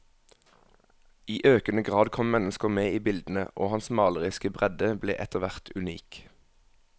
I økende grad kom mennesker med i bildene, og hans maleriske bredde ble etterhvert unik.